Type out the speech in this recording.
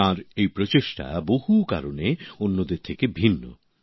তাঁর এই প্রচেষ্টা বহু কারণে অন্যদের থেকে ভিন্ন